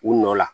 U nɔ la